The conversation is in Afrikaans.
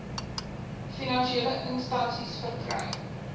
finansiële instansies verkry